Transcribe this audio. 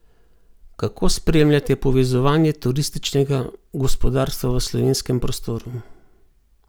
Kako spremljate povezovanje turističnega gospodarstva v slovenskem prostoru?